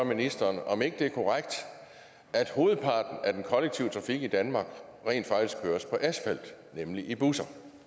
ministeren om ikke det er korrekt at hovedparten af den kollektive trafik i danmark rent faktisk køres på asfalt nemlig i busser